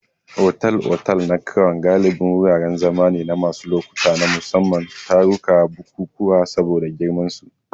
Otal-otal na Crown galibi wuraren zama ne na wasu lokuta na musamman, taruka da bukukuwa saboda girmansu.